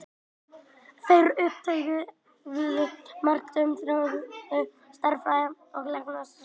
Þeir uppgötvuðu margt og þróuðu stærðfræði og læknisfræði sem skilaði sér síðar til Evrópu.